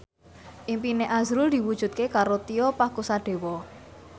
impine azrul diwujudke karo Tio Pakusadewo